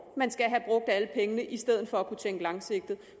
man skal have brugt alle pengene i stedet for at kunne tænke langsigtet